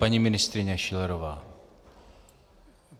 Paní ministryně Schillerová.